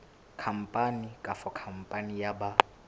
khampani kapa khampani ya ba